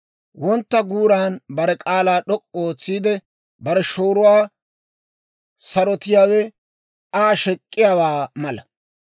Wontta guuran bare k'aalaa d'ok'k'u ootsiide, bare shooruwaa sarotiyaawe Aa shek'k'iyaawaa mala.